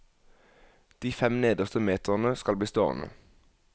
De fem nederste meterne skal bli stående.